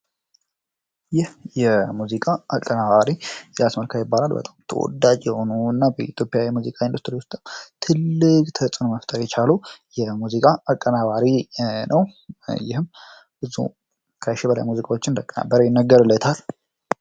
ይህ የሙዚቃ አቀናባሪ ኤልያስ መልካ ይባላል በጣም ተወዳጅ የሆኑ እና በኢትዮጵያ የሙዚቃ ኢንዱስትሪ ውስጥ ትልቅ ተጽዕኖ መፍጠር የቻለ የሙዚቃ አቀናባሪ ነው ይህም ብዙ ከሽ በላይ ሙዚቃዎችን እንዳቀናበረ ይነገርለታል።